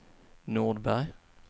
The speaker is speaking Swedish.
Nordberg